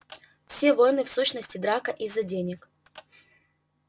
все войны в сущности драка из-за денег